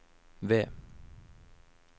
ved